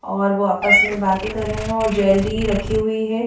और वो आपस में बातें कर रहे हैं और ज्वेलरी रखी हुई हैं।